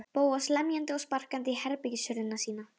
Bóas lemjandi og sparkandi í herbergishurðina sína.